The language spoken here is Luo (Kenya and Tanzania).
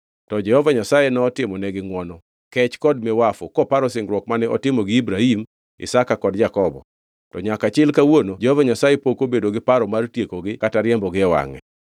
To Jehova Nyasaye notimonegi ngʼwono, kech kod miwafu koparo singruok mane otimo gi Ibrahim, Isaka kod Jakobo. To nyaka chil kawuono Jehova Nyasaye pok obedo gi paro mar tiekogi kata riembogi e wangʼe.